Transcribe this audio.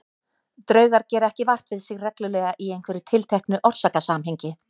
Draugar gera ekki vart við sig reglulega í einhverju tilteknu orsakasamhengi.